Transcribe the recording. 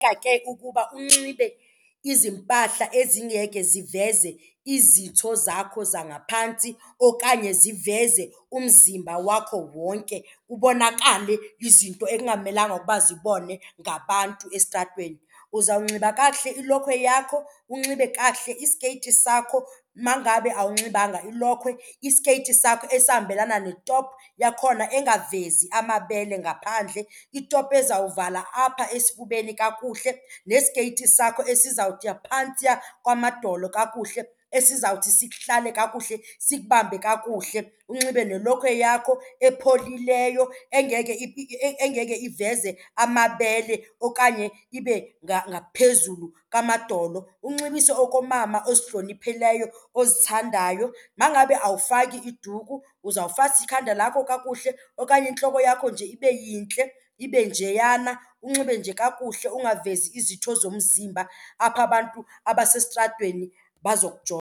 ke ukuba unxibe izimpahla ezingeke ziveze izitho zakho zangaphantsi okanye ziveze umzimba wakho wonke kubonakale izinto ekungamelanga ukuba zibonwe ngabantu estratweni. Uzawunxiba kakuhle ilokhwe yakho, unxibe kakuhle isikeyiti sakho. Ma ngabe awunxibanga ilokhwe, isikeyiti sakho esihambelana ne-top yakhona engavezi amabele ngaphandle, i-top ezawuvala apha esifubeni kakuhle nesikeyiti sakho esizawukuya phantsiya kwamadolo kakuhle esizawuthi sikuhlale kakuhle, sikubambe kakuhle. Unxibe nelokhwe yakho epholileyo engeke engeke iveze amabele okanye ibe ngaphezulu kwamadolo. Unxibise okomama ozihloniphileyo ozithandayo. Ma ngabe awufaki iduku uzawufasa ikhadi lakho kakuhle okanye intloko yakho nje ibe yintle ibe njeyana. Unxibe nje kakuhle ukungavezi izitho zomzimba apho abantu abasestratweni bazokujonga.